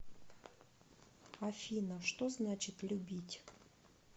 афина что значит любить